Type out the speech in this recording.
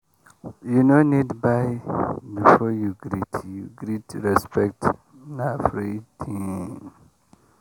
you no need buy before you greet you greet respect na free thing.